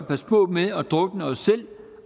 passe på med at drukne os selv